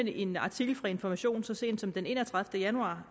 i en artikel fra information så sent som den enogtredivete januar